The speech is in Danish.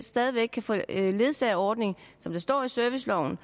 stadig væk kan få ledsagerordning som der står i serviceloven